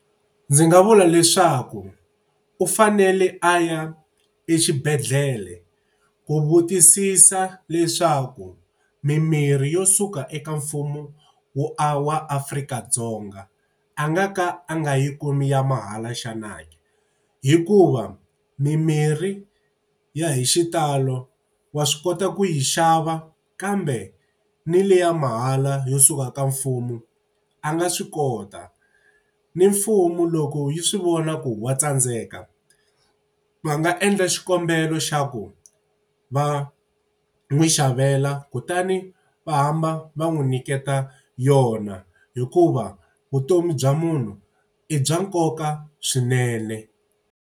Ndzi nga vula leswaku u fanele a ya exibedhlele ku vutisisa leswaku mimirhi yo suka eka mfumo wo wa Afrika-Dzonga a nga ka a nga yi kumi ya mahala xana ke? Hikuva mimirhi ya hi xitalo wa swi kota ku yi xava kambe ni liya mahala yo suka ka mfumo a nga swi kota. Ni mfumo loko yi swi vona ku wa tsandzeka, va nga endla xikombelo xa ku va n'wi xavela kutani va hamba va n'wi nyiketa yona, hikuva vutomi bya munhu i bya nkoka swinene.